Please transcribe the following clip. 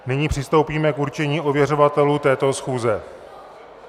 Nyní přistoupíme k určení ověřovatelů této schůze.